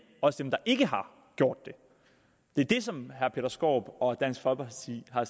også dem der ikke har gjort det det er det som herre peter skaarup og dansk folkeparti har